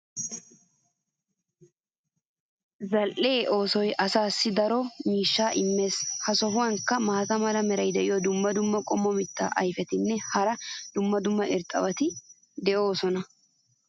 Zal'iya oosoy asaassi daro miishshaa immees. ha sohuwankka maata mala meray diyo dumma dumma qommo mitaa ayfetinne hara dumma dumma irxxabati de'oosona.